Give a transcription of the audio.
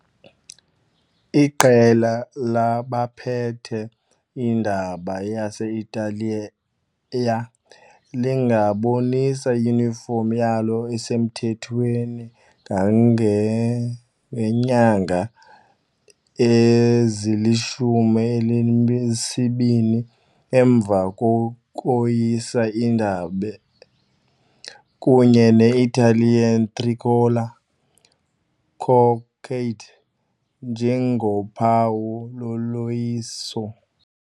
Iqela labaphethe indaba yase-Italiya lingabonisa iyunifomu yalo esemthethweni kangangeenyanga ezilishumi elinesibini emva kokoyisa indabe, kunye ne- Italian tricolor cockade njengophawu loloyiso.